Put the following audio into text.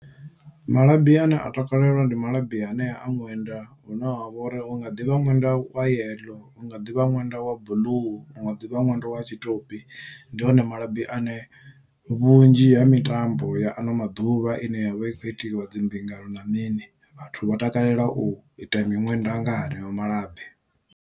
Malabi ane a takalelwa ndi malabi anea a ṅwenda une wavha uri u nga ḓivha ṅwenda wa yeḽo unga ḓivha ṅwenda wa blue unga ḓivha ṅwenda wa tshitopi ndi one malabi ane vhunzhi ha mitambo ya ano maḓuvha ine yavha i kho itiwa dzimbingano na mini vhathu vha takalela u ita miṅwenda nga haneyo malabi.